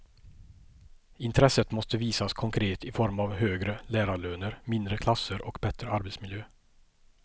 Intresset måste visas konkret i form av högre lärarlöner, mindre klasser och bättre arbetsmiljö.